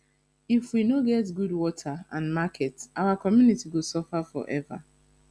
if we no get good water and market our community go suffer for ever